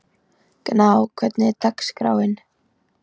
Gná, hvernig er dagskráin?